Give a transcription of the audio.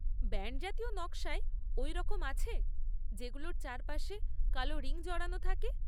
Band জাতীয় নকশায় ওই রকম আছে, যেগুলোর চারপাশে কালো রিং জড়ানো থাকে?